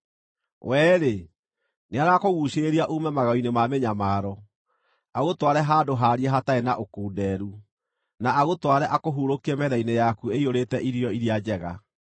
“We-rĩ, nĩarakũguucĩrĩria uume magego-inĩ ma mĩnyamaro, agũtware handũ haariĩ hatarĩ na ũkunderu, na agũtware akũhurũkie metha-inĩ yaku ĩiyũrĩte irio iria njega.